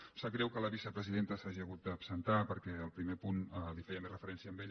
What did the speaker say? em sap greu que la vicepresidenta s’hagi hagut d’absentar perquè el primer punt feia més referència a ella